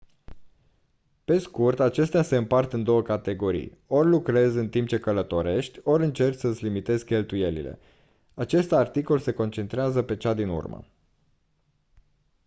pe scurt acestea se împart în două categorii ori lucrezi în timp ce călătorești ori încerci să îți limitezi cheltuielile acest articol se concentrează pe cea din urmă